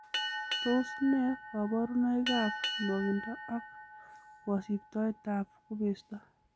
Tos nee koborunoikab nwogindo ak kosiptoetab kubesto?